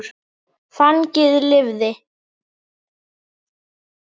Fanginn lifði.